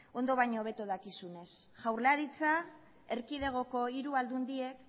ondo baino hobeto dakizunez jaurlaritza erkidegoko hiru aldundiek